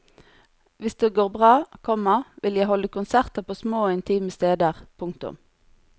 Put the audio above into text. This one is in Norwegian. Hvis det går bra, komma vil jeg holde konserter på små og intime steder. punktum